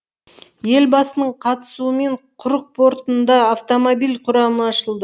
елбасының қатысуымен құрық портында автомобиль құрамы ашылды